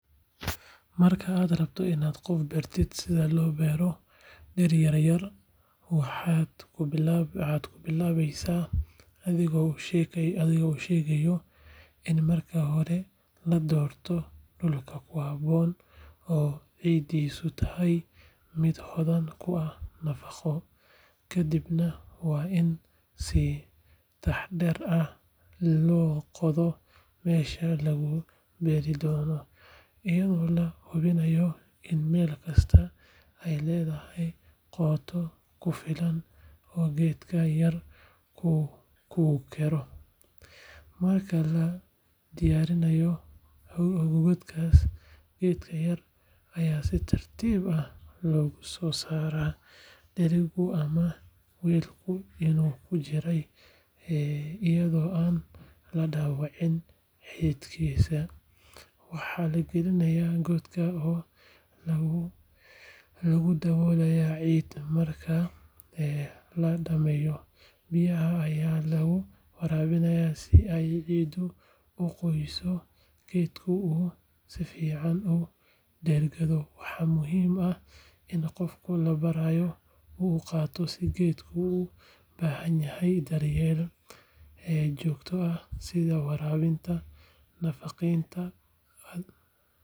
Marka aad rabto inaad qof bartid sida loo beero dhir-yaryar, waxaad ku bilaabaysaa adigoo u sheegaya in marka hore la doorto dhulka ku habboon oo ciiddiisu tahay mid hodan ku ah nafaqo. Kadibna waa in si taxaddar leh loo qoda meelaha lagu beeri doono, iyadoo la hubinayo in meel kastaa ay leedahay qoto ku filan oo geedka yar uu ku koro. Marka la diyaariyo godadkaas, geedka yar ayaa si tartiib ah looga soo saaraa dheriga ama weelkii uu ku jiray, iyadoo aan la dhaawicin xididdadiisa. Waxaa la gelinayaa godka oo lagu daboolayaa ciid. Marka la dhammeeyo, biyaha ayaa lagu waraabiyaa si ay ciiddu u qoyso, geedkuna uu si fiican ugu dhegganado. Waxaa muhiim ah in qofka la barayo uu ogaado in geedku u baahan yahay daryeel joogto ah, sida waraabin, nadiifin.